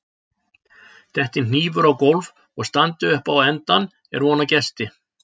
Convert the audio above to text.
detti hnífur á gólf og standi upp á endann er von á gesti